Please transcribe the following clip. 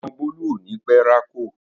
Ọmọ Bólú ò ní pẹ́ rákò